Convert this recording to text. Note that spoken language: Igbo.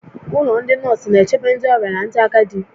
Ụlọ ndị nọọsụ na-echebe ndị ọrịa na ndị agadi